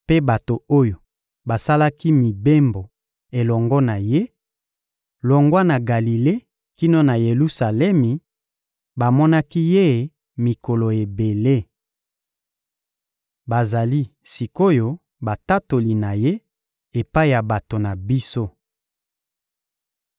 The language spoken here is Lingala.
mpe bato oyo basalaki mibembo elongo na Ye, longwa na Galile kino na Yelusalemi, bamonaki Ye mikolo ebele. Bazali sik’oyo batatoli na Ye epai ya bato na biso.